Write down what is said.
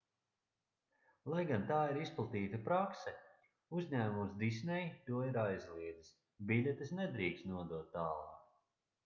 lai gan tā ir izplatīta prakse uzņēmums disney to ir aizliedzis biļetes nedrīkst nodot tālāk